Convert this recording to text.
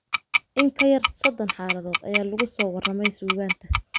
In ka yar sodon xaaladood ayaa lagu soo warramey suugaanta.